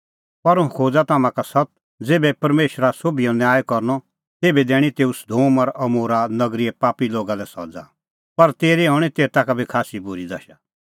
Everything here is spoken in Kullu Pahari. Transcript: पर हुंह खोज़ा तम्हां का सत्त ज़ेभै परमेशरा सोभिओ न्याय करनअ तेभै दैणीं तेऊ सदोम और अमोरा नगरीए पापी लोगा लै सज़ा पर तेरी हणीं तेता का बी खास्सी बूरी दशा